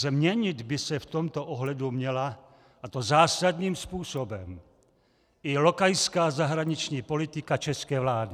Změnit by se v tomto ohledu měla, a to zásadním způsobem, i lokajská zahraniční politika české vlády.